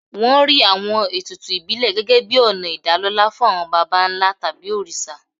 Wọ́n rí àwọn ètùtù ìbílẹ̀ gẹ́gẹ́ bíi ọ̀nà ìdálọ́lá fún àwọn baba ńlá tàbí òrìṣà.